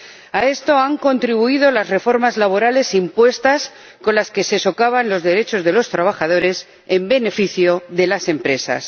A esto han contribuido las reformas laborales impuestas, con las que se socavan los derechos de los trabajadores en beneficio de las empresas.